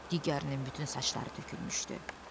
Digərinin bütün saçları tökülmüşdü.